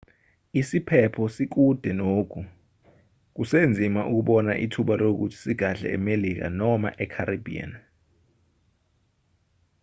isiphepho sikude nogu kusenzima ukubona ithuba lokuthi sigadle emelika noma e-caribbean